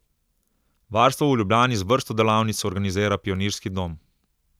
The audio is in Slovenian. Varstvo v Ljubljani z vrsto delavnic organizira Pionirski dom.